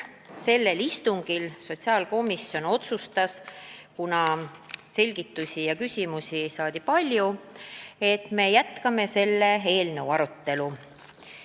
Sellel istungil sotsiaalkomisjon otsustas, et kuna selgitusi ja küsimusi oli palju, siis me jätkame selle eelnõu arutelu.